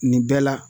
Nin bɛɛ la